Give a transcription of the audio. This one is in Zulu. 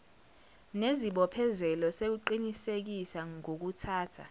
nesibophezelo sokuqinisekisa ngokuthatha